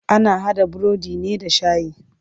Ana haɗa burodi ne da shayi.